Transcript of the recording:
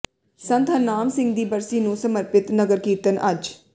ਸੰਤ ਹਰਨਾਮ ਸਿੰਘ ਦੀ ਬਰਸੀ ਨੂੰ ਸਮਰਪਿਤ ਨਗਰ ਕੀਰਤਨ ਅੱਜ